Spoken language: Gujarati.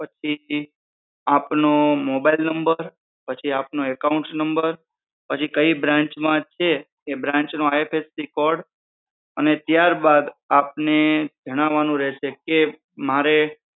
આપનો mobile number પછી આપનો account number પછી કઈ branch માં છે branch નો IFSC code અને ત્યારબાદ આપને જણાવાનું રહેશે કે મારે